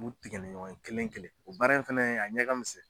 U b'u tigɛ ni ɲɔgɔn ye kelen kelen o baara in fana ye a ɲɛ ka misɛn.